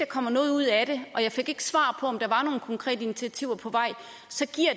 kommer noget ud af det jeg fik ikke svar på om der var nogle konkrete initiativer på vej